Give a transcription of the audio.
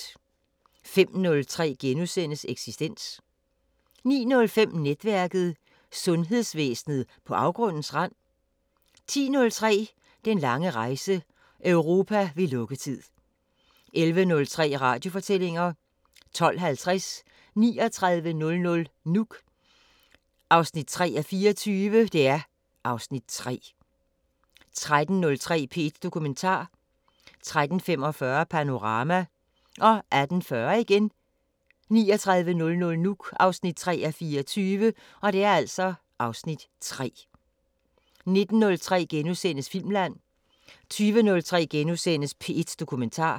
05:03: Eksistens * 09:05: Netværket: Sundhedsvæsenet på afgrundens rand? 10:03: Den lange rejse – Europa ved lukketid 11:03: Radiofortællinger 12:50: 3900 Nuuk 3:24 (Afs. 3) 13:03: P1 Dokumentar 13:45: Panorama 18:40: 3900 Nuuk (3:24) (Afs. 3) 19:03: Filmland * 20:03: P1 Dokumentar *